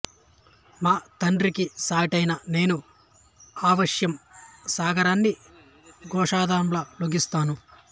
మా తండ్రికి సాటియైన నేను అవశ్యం సాగరాన్ని గోష్పదంలా లంఘిస్తాను